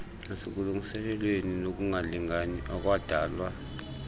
nasekulungisweni kokungalingani okwadalwa